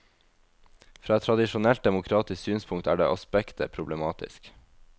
Fra et tradisjonelt demokratisk synspunkt er det aspektet problematisk.